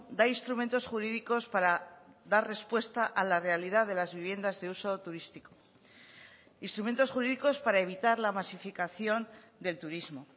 da instrumentos jurídicos para dar respuesta a la realidad de las viviendas de uso turístico instrumentos jurídicos para evitar la masificación del turismo